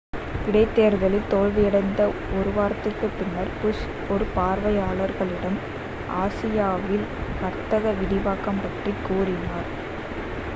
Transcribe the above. இடைதேர்தலில் தோல்வியடைந்த ஒரு வாரத்திற்குப் பின்னர் புஷ் ஒரு பார்வையாளர்களிடம் ஆசியாவில் வர்த்தக விரிவாக்கம் பற்றி கூறினார்